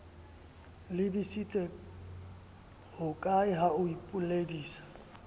lebisitse hokae ha o ipoledisa